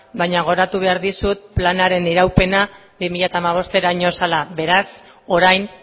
baina gogoratu behar dizut planaren iraupena bi mila hamabosteraino zela beraz orain